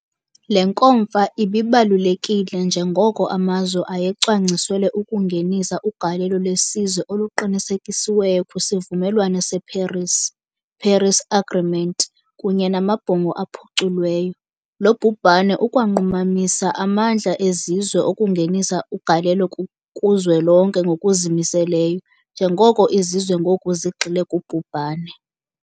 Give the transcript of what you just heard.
Le nkomfa ibibalulekile njengoko amazwe ayecwangciselwe ukungenisa ugalelo lwesizwe oluqinisekisiweyo kwisivumelwano seParis, Paris Agreement, kunye namabhongo aphuculweyo. Lo bhubhane ukwanqumamisa amandla ezizwe okungenisa ugalelo kuzwelonke ngokuzimiseleyo, njengoko izizwe ngoku zigxile kubhubhane.